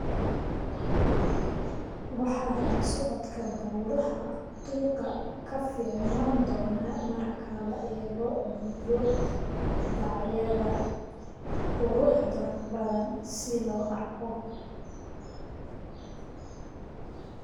waxa raad socodka buuraha qiiqa ka fiicnaan doona marka la eego biyo-dhacyada quruxda badan si loo arko